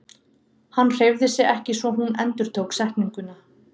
Hann hreyfði sig ekki svo hún endurtók setninguna.